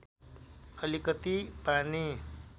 अलिकति पानी